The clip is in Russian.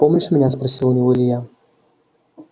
помнишь меня спросил у него илья